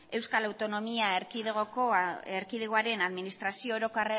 euskal autonomia erkidegoaren administrazio